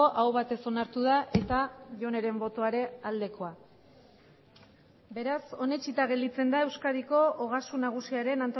aho batez onartu da eta joneren botoa ere aldekoa beraz onetsita gelditzen da euskadiko ogasun nagusiaren